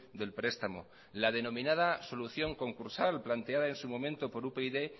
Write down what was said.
del prestamo la denominada solución concursal planteada en su momento por upyd